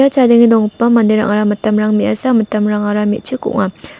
ia chadenge donggipa manderangara mitamrang me·asa mitamrangara me·chik ong·a.